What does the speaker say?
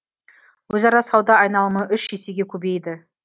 өзара сауда айналымы үш есеге көбейді